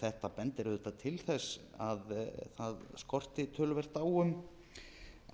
þetta bendir auðvitað til þess að það skorti töluvert á